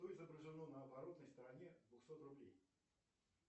что изображено на оборотной стороне двухсот рублей